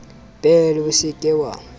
bele o se ke wa